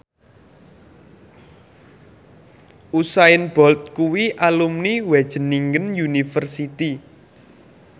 Usain Bolt kuwi alumni Wageningen University